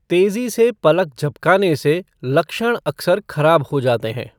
तेजी से पलक झपकाने से लक्षण अक्सर खराब हो जाते हैं।